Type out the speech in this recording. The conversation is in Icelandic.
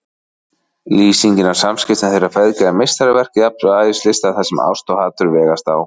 Lýsingin á samskiptum þeirra feðga er meistaraverk jafnvægislistar þar sem ást og hatur vegast á.